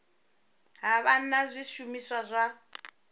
ha vha na zwishumiswa zwa